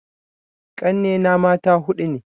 Ƙanne na mata huɗu ne